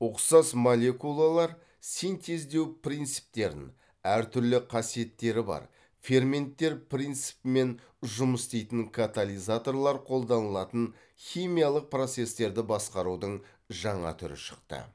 ұқсас молекулалар синтездеу принциптерін әр түрлі қасиеттері бар ферменттер принципімен жұмыс істейтін катализаторлар қолданылатын химиялық процестерді басқарудың жаңа түрі шықты